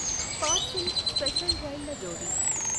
parcel special రైళ్ల జోడీ